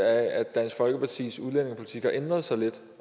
at dansk folkepartis udlændingepolitik har ændret sig lidt